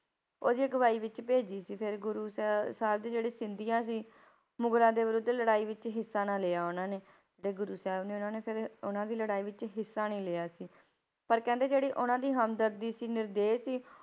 ਉਹਦੀ ਅਗਵਾਈ ਵਿੱਚ ਭੇਜੀ ਸੀ ਫਿਰ ਗੁਰੂ ਸਾ~ ਸਾਹਿਬ ਦੀ ਜਿਹੜੇ ਸਿੰਧੀਆ ਸੀ, ਮੁਗਲਾਂ ਦੇ ਵਿਰੁੱਧ ਲੜਾਈ ਵਿੱਚ ਹਿੱਸਾ ਨਾ ਲਿਆ ਉਹਨਾਂ ਨੇ, ਤੇ ਗੁਰੂ ਸਾਹਿਬ ਨੇ ਉਹਨਾਂ ਨੇ ਫਿਰ ਉਹਨਾਂ ਦੀ ਲੜਾਈ ਵਿੱਚ ਹਿੱਸਾ ਨੀ ਲਿਆ ਸੀ, ਪਰ ਕਹਿੰਦੇ ਜਿਹੜੀ ਉਹਨਾਂ ਦੀ ਹਮਦਰਦੀ ਸੀ ਨਿਰਦੇਹ ਸੀ